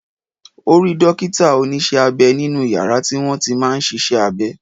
Ó rí dókítà- Onísé-abẹ nínú yàrá tí wọ́n ti máa ń sisé abe